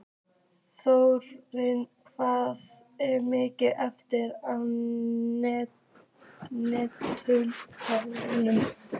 Þórinn, hvað er mikið eftir af niðurteljaranum?